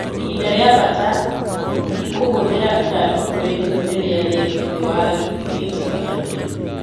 Ihinda ria bata ,ĩkuhũthira ithandũkũ rinini riria rii thii wa gĩtĩ giake.